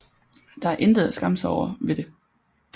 Der er intet at skamme sig over ved det